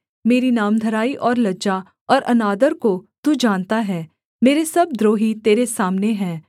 मेरी नामधराई और लज्जा और अनादर को तू जानता है मेरे सब द्रोही तेरे सामने हैं